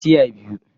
Tiya daya